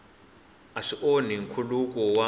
a swi onhi nkhuluko wa